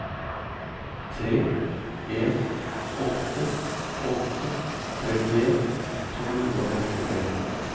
tre en åtte åtte trettien to hundre og femtitre